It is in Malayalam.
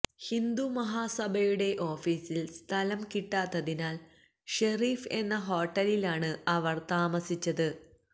ഹിന്ദുമഹാസഭയുടെ ഓഫീസിൽ സ്ഥലം കിട്ടാഞ്ഞതിനാൽ ഷെരീഫ് എന്ന ഹോട്ടലിൽ ആണ് അവർ താമസിച്ചത്